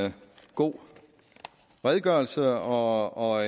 en god redegørelse og og